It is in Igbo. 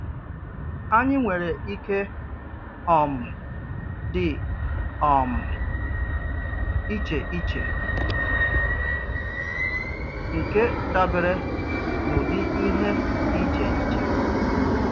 Ànyì nwèrè ìkè um dị um íchè íchè, nkè dabere n’ụ̀dị ìhè dị íchè íchè